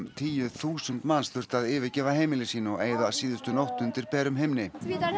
tíu þúsund manns þurftu að yfirgefa heimili sín og eyða síðustu nótt undir berum himni